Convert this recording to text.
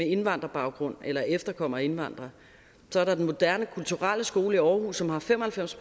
indvandrerbaggrund eller er efterkommere af indvandrere så er der den moderne kulturelle skole i aarhus som har fem og halvfems